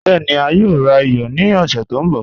Bẹẹ̀ni, a yòò rà iyọ̀ ní ọ̀ṣẹ̀ tó nbọ̀